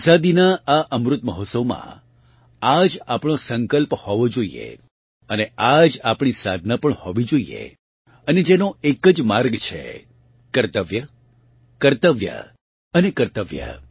આઝાદીનાં આ અમૃત મહોત્સવ માં આ જ આપણો સંકલ્પ હોવો જોઇએ અને આ જ આપણી સાધના પણ હોવી જોઇએ અને જેનો એક જ માર્ગ છે કર્તવ્ય કર્તવ્ય અને કર્તવ્ય